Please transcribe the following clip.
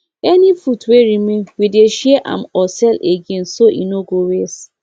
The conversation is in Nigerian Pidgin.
any food wey remain we dey share am or sell again so e no go waste